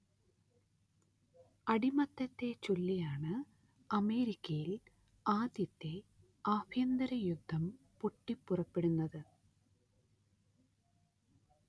അടിമത്തത്തെച്ചൊല്ലിയാണ് അമേരിക്കയിൽ ആദ്യത്തെ ആഭ്യന്തര യുദ്ധം പൊട്ടിപ്പുറപ്പെടുന്നത്